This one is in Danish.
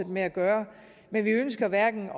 med at gøre men vi ønsker hverken